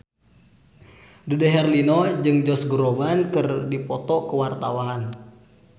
Dude Herlino jeung Josh Groban keur dipoto ku wartawan